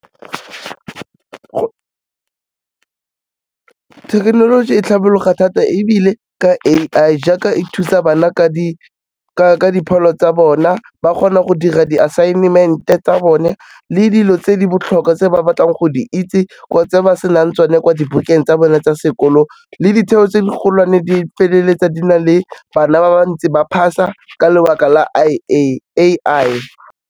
Thekenoloji e tlhabologo thata ebile ka A_I, jaaka e thusa bana ka dipholo tsa bona ba kgona go dira di-assignment-e tsa bone le dilo tse di botlhokwa tse ba batlang go di itse tse ba senang tsone kwa dibukeng tsa bone tsa sekolo le ditheo tse di golwane di feleletsa di na le bana ba bantsi ba pass-a ka lebaka la A_I.